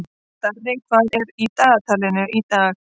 Darri, hvað er í dagatalinu í dag?